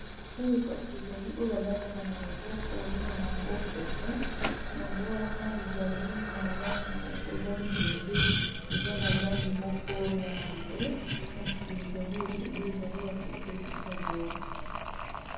Oyo kasi ezali oyo balataka na loboko babengaka yango pete yango wana ezali na langi moko eza libende eza na langi moko ya mbwe kasi ezali ebele ezali ya kotekisa boye